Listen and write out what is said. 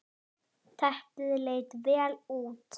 Teppið leit vel út.